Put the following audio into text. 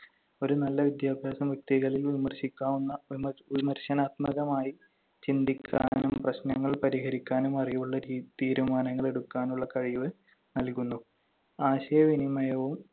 ഒരു നല്ല വിദ്യാഭ്യാസം വ്യക്തികളിൽ വിമർശിക്കാവുന്ന വിമർശനാത്മകമായി ചിന്തിക്കാനും പ്രശ്‌നങ്ങൾ പരിഹരിക്കാനും അറിവുള്ള തീരുമാനങ്ങൾ എടുക്കാനുള്ള കഴിവ് നൽകുന്നു. ആശയവിനിമയവും